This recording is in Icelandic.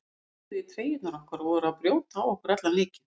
Þeir toguðu í treyjurnar okkar og voru að brjóta á okkur allan leikinn.